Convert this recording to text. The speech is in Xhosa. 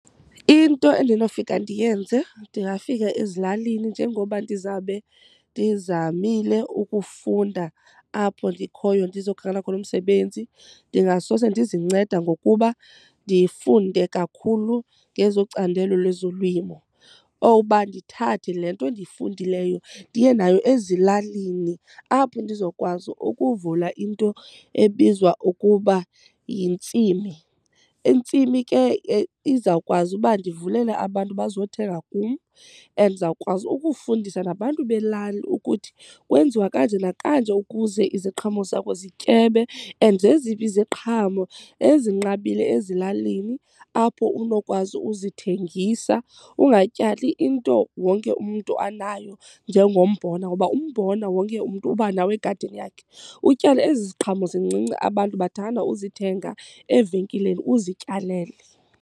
Into endinofika ndiyenze ndingafika ezilalini njengoba ndizawube ndizamile ukufunda apho ndikhoyo ndizokhangela khona umsebenzi ndingasose ndizinceda ngokuba ndifunde kakhulu ngezocandelo lezolimo. Owuba ndithathe le nto ndifundileyo ndiye nayo ezilalini apho ndizokwazi ukuvula into ebizwa ukuba yintsimi. Intsimi ke izawukwazi uba ndivulele abantu bazothenga kum and ndizawukwazi ukufundisa nabantu belali ukuthi kwenziwa kanje nakanje ukuze iziqhamo zakho zityebe and zeziphi iziqhamo ezinqabile ezilalini apho unokwazi uzithengisa. Ungatyali into wonke umntu anayo njengombona ngoba umbona wonke umntu uba nawo egadini yakhe. Utyale ezi ziqhamo zincinci abantu bathanda uzithenga evenkileni, uzityalele.